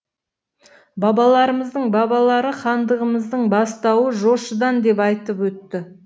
бабаларымыздың бабалары хандығымыздың бастауы жошыдан деп айтып өтті